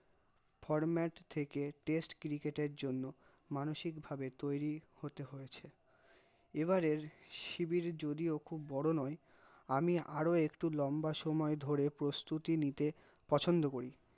format থেকে test cricket র জন্য মানসিক ভাবে তৈরি হতে হয়েছে, এবারে শিবির জদীও খুব বড় নয়, আমি আর একটূ লম্বা সময় ধরে প্রস্তুতি নিতে পছন্দ করি